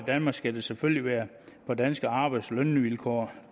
danmark skal det selvfølgelig være på danske arbejds og lønvilkår